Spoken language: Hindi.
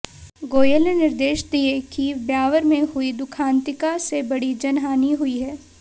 गोयल ने निर्देश दिए कि ब्यावर में हुई दुखांतिका से बड़ी जन हानि हुई है